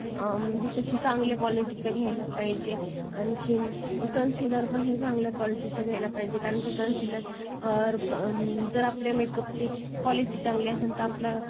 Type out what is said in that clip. जस की चांगल्या quality च घ्यायला पाहिजेल आणखीन concealer हे पण चांगल्या quality च घ्यायला पाहिजेल जर आपला makeup quality चांगली असेल तर आपला